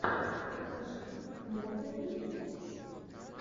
покажи мондо медиа